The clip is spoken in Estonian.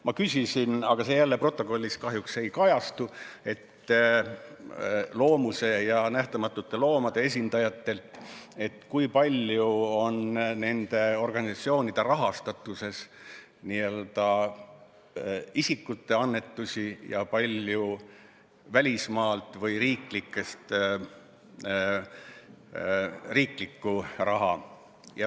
Ma küsisin Loomuse ja Nähtamatute Loomade esindajatelt, kui palju on nende organisatsioonide rahastatuses n-ö isikute annetusi ja kui palju välismaalt saadud või riiklikku raha.